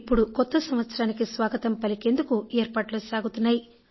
ఇప్పుడు కొత్త సంవత్సరానికి స్వాగతం పలికేందుకు ఏర్పాట్లు సాగుతున్నాయి